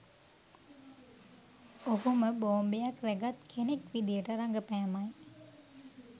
ඔහුම බෝම්බයක් රැගත් කෙනෙක් විදියට රඟපෑමයි